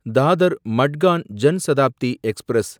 Dadar Madgaon Jan Shatabdi express